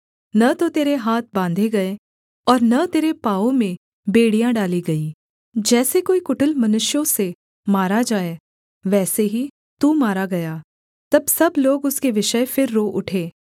न तो तेरे हाथ बाँधे गए और न तेरे पाँवों में बेड़ियाँ डाली गईं जैसे कोई कुटिल मनुष्यों से मारा जाए वैसे ही तू मारा गया तब सब लोग उसके विषय फिर रो उठे